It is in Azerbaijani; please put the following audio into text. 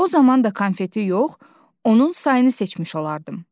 O zaman da konfeti yox, onun sayını seçmiş olardım.